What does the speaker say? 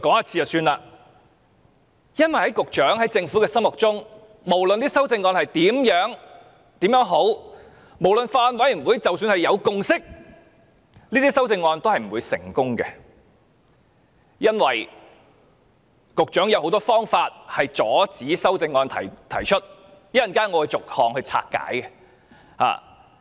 這是因為在局長和政府的心中，無論修正案有多好，即使法案委員會有共識，這些修正案都不會通過，局長亦有很多方法阻止修正案在立法會提出，稍後我會逐項拆解。